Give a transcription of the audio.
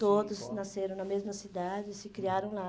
Todos nasceram na mesma cidade e se criaram lá.